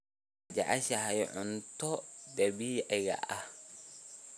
Ma jeceshahay cuntada dabiiciga ah?